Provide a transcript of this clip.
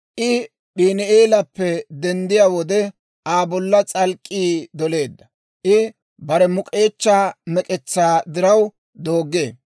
I P'iini"eelappe denddiyaa wode, Aa bolla s'alk'k'ii doleedda. I bare muk'k'eechchaa mek'etsaa diraw dooggee.